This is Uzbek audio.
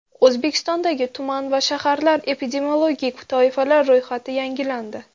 O‘zbekistondagi tuman va shaharlar epidemiologik toifalari ro‘yxati yangilandi.